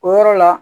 O yɔrɔ la